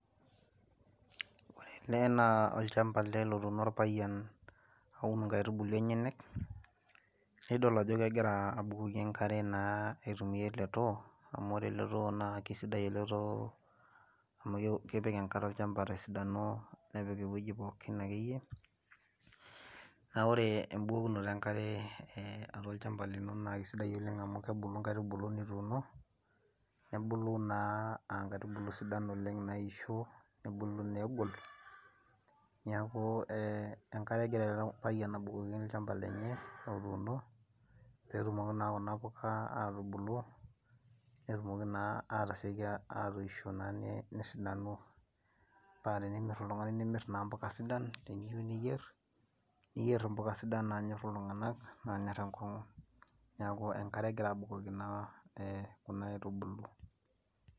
Ore naa ena olchampa ele lotuuno orpayian, aun nkaitubulu enyenak naa idol ajo kegira abukoki enkare naa aitumiyia ele too amu ore ele too naa keisidai ele too amu kepiki enkare olchampa tesidano nepik eweji pookin ,naa ore embukokinoto enkare olchampa lino naa keisidai oleng amu kebulu nkaitubulu nituuno, nebulu naa aa nkaitubulu sidan oleng naisho, nebulu naa egol, neeku enkare egira ele payian abukoki olchampa lenye otuuno pee etumoki naa kuna puka atubulu ,netumoki naa atasioki atoisho paa tenemir naa oltungani nemiri mpuka sidan ,teniyieu niyer mbuka sidan nanyor iltunganak ,neeku enkare egira abukoki naa kuna aitubulu.